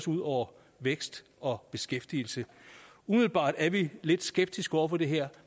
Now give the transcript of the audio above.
ud over vækst og beskæftigelse umiddelbart er vi lidt skeptiske over for det her